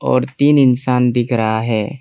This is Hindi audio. और तीन इंसान दिख रहा है।